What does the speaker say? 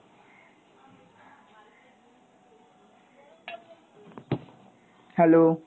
hello.